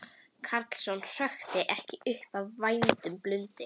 Karlsson hrökkvi ekki upp af værum blundi.